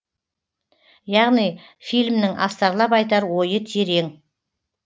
яғни фильмнің астарлап айтар ойы терең